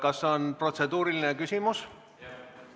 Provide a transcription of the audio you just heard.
Kas on protseduuriline küsimus?